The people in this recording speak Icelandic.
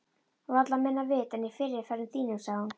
Varla minna vit en í fyrri ferðum þínum, sagði hún.